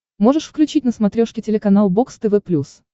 можешь включить на смотрешке телеканал бокс тв плюс